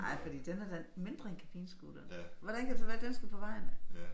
Nej fordi den er da mindre end kabinescooteren? Hvordan kan det så være den skal på vejen?